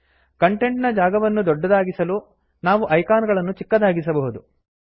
content ನ ಜಾಗವನ್ನು ದೊಡ್ಡದಾಗಿಸಲು ನಾವು ಐಕಾನ್ ಗಳನ್ನು ಚಿಕ್ಕದಾಗಿಸಬಹುದು